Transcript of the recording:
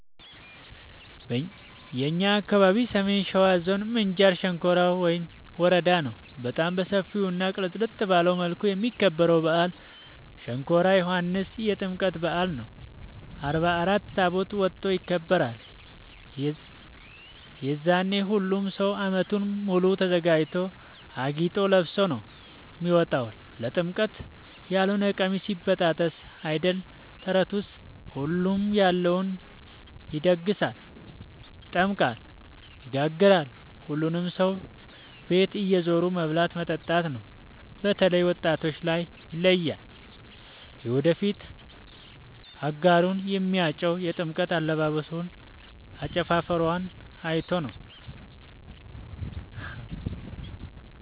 የእኛ አካባቢ ሰሜን ሸዋ ዞን ምንጃር ሸንኮራ ወረዳ ነው። በጣም በሰፊው እና ቅልጥልጥ ባለ መልኩ የሚከበረው በአል ሸንኮራ ዮኋንስ የጥምቀት በአል ነው። አርባ አራት ታቦት ወጥቶ ይከብራል። የዛኔ ሁሉም ሰው አመቱን ሙሉ ተዘጋጅቶ አጊጦ ለብሶ ነው የሚወጣው ለጥምቀት ያሎነ ቀሚስ ይበጣጠስ አይደል ተረቱስ ሁሉም ያለውን ይደግሳል። ይጠምቃል ይጋግራል ሁሉም ሰው ቤት እየዞሩ መብላት መጠጣት ነው። በተላይ ወጣቶች ላይ ይለያል። የወደፊት አጋሩን የሚያጨው የጥምቀት አለባበሶን አጨፉፈሯን አይቶ ነው።